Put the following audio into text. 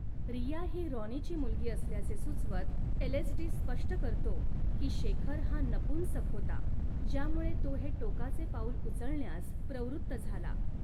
रिया ही राॅनीची मुलगी असल्याचे सुचवत एलएसडी स्पष्ट करतो की, शेखर हा नपुंसक होता, ज्यामुळे तो हे टोकाचे पाऊल उचलण्यास प्रवृत्त झाला.